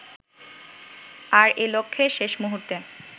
আর এ-লক্ষ্যে শেষ মুহুর্তে